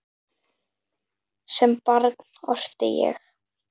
Sem barn orti ég.